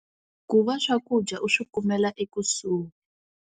Ku va swakudya i swi kumela ekusuhi.